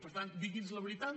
per tant digui’ns la veritat